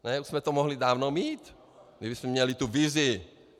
Už jsme to mohli dávno mít, kdybychom měli tu vizi.